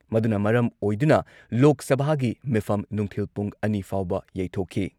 ꯃꯗꯨꯅ ꯃꯔꯝ ꯑꯣꯏꯗꯨꯅ ꯂꯣꯛ ꯁꯚꯥꯒꯤ ꯃꯤꯐꯝ ꯅꯨꯡꯊꯤꯜ ꯄꯨꯡ ꯑꯅꯤ ꯐꯥꯎꯕ ꯌꯩꯊꯣꯛꯈꯤ ꯫